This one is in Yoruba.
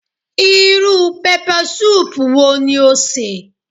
Irú pẹpẹsúùpù wo ni o sè